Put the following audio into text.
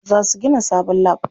Za su gina sabon lab.